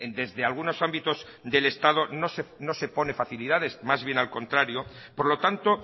desde algunos ámbitos del estado no se pone facilidades más bien al contrario por lo tanto